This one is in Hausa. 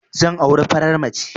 Zan auri farar mace